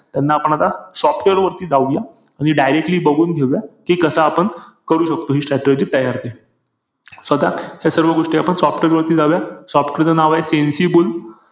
IP IPL